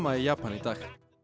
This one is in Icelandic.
í Japan í dag